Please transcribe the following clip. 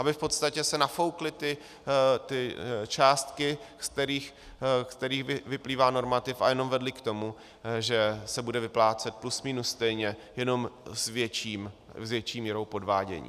Aby v podstatě se nafoukly ty částky, z kterých vyplývá normativ, a jenom vedly k tomu, že se bude vyplácet plus minus stejně, jenom s větší měrou podvádění.